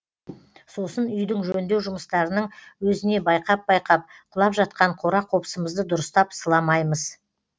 сосын үйдің жөндеу жұмыстарының өзіне байқап байқап құлап жатқан қора қопсымызды дұрыстап сыламаймыз